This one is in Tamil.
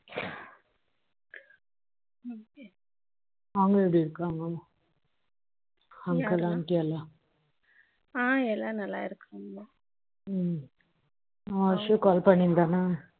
அவங்க எப்படி இருக்காங்க uncle-aunty எல்லாம் ஆ எல்லாரும் நல்லா இருக்காங்க அவன் ஹர்ஷூ call பண்ணியிருந்தானா